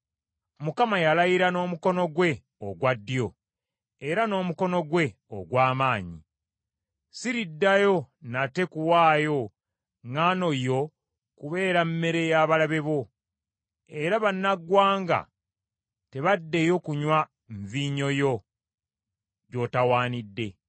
Mukama yalayira n’omukono gwe ogwa ddyo era n’omukono gwe ogw’amaanyi: “Siriddayo nate kuwaayo ŋŋaano yo kubeera mmere y’abalabe bo, era bannaggwanga tebaddeyo kunywa nvinnyo yo gy’otawaanidde.